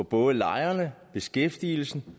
både lejerne beskæftigelsen